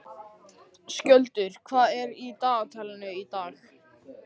Skjöldur, hvað er í dagatalinu í dag?